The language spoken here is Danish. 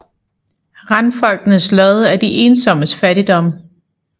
Randfolkenes Lod er de ensommes Fattigdom